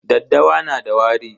Daddawa na da wari.